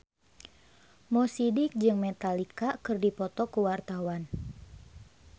Mo Sidik jeung Metallica keur dipoto ku wartawan